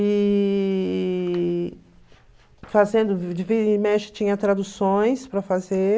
E fazendo, de vira e mexe, tinha traduções para fazer.